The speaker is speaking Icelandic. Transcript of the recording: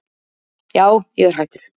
Já ég er hættur.